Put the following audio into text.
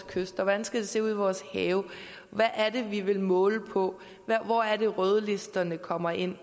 kyster hvordan skal det se ud i vores have hvad er det vi vil måle på hvor er det rødlisterne kommer ind